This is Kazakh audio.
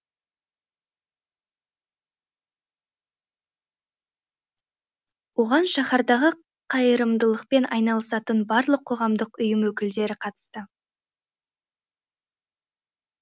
оған шаһардағы қайырымдылықпен айналысатын барлық қоғамдық ұйым өкілдері қатысты